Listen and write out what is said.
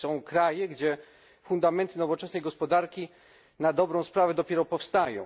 Są kraje, gdzie fundamenty nowoczesnej gospodarki na dobrą sprawę dopiero powstają.